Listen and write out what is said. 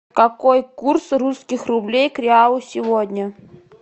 какой курс русских рублей к реалу сегодня